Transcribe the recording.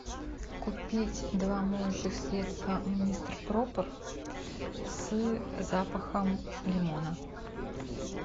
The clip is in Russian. купить два моющих средства мистер пропер с запахом лимона